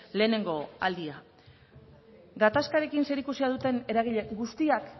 lehenengo aldia gatazkarekin zerikusia duten eragile guzti